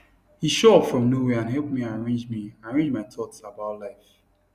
he show up from nowhere and help me arrange me arrange my thoughts about life